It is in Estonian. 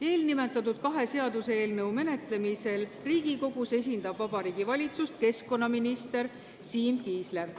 Eelnimetatud kahe seaduseelnõu menetlemisel Riigikogus esindab Vabariigi Valitsust keskkonnaminister Siim Kiisler.